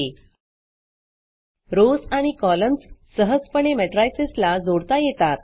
Rowsरोस आणि कॉलम्स सहजपणे matricesमेट्रिसस ला जोडता येतात